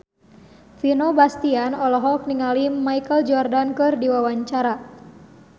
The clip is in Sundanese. Vino Bastian olohok ningali Michael Jordan keur diwawancara